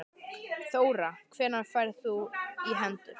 Þóra: Hvenær færðu þá í hendur?